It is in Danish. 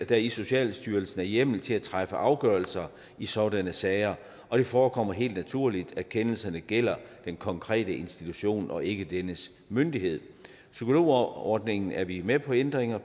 der i socialstyrelsen er hjemmel til at træffe afgørelser i sådanne sager og det forekommer helt naturligt at kendelserne gælder den konkrete institution og ikke dennes myndighed psykologordningen er vi med på ændringer af